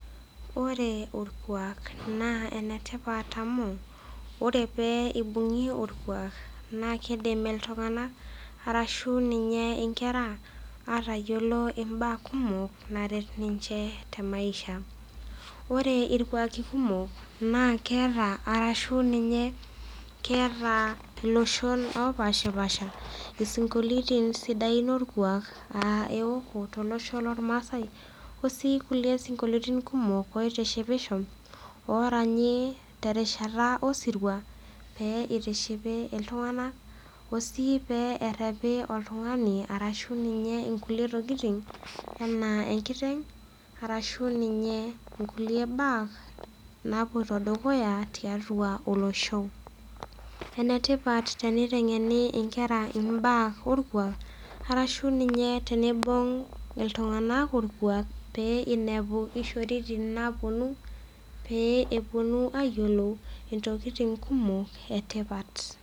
Ore orkwaak naa enetipat amu ore pee eibung'i orkwaak naakeidim iltung'anak arashu ninye inkera aatayiolo imbaa kumok naret ninche te maisha. Ore irkwaaki kumok naa keata arashu ninye keetaa iloshon opashipasha isinkolioitin sidain olkwaak aa eoku tolosho lolmasai o sii kulie sinkolioitin kumok oitishipisho oraanyii terishata osirua pee eitishipi iltung'anak o sii pee errepi oltung'ani arashu ninye inkulie tokitin anaa enkiteng' arashu ninye inkulie baa napuoito dukuya tiatua olosho. Enetipat teniteng'eni inkera imbaa olkwaak arashu ninye teneibung' iltung'anak olkwaak pee einepu ishoritin naapuonu pee epuonu ayiolou intokitin kumok etipat.